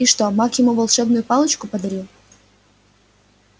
и что маг ему волшебную палочку подарил